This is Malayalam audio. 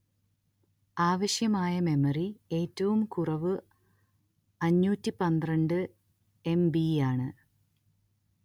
ആവശ്യമായ മെമ്മറി ഏറ്റവും കുറവ് അഞ്ഞൂറ്റി പന്ത്രണ്ട് എം_letter ബി_letter യാണ്